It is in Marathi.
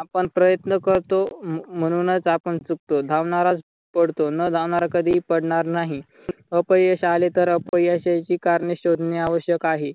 आपण प्रयत्न करतो म्हणूनच आपण चुकतो. धावणारा पडतो न धावणारा कधीही पडणार नाही. अपयश आले तर अपयशाची करणे शोधणे आवश्यक आहे.